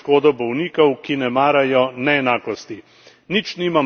Oboje gre v škodo bolnikov, ki ne marajo neenakosti.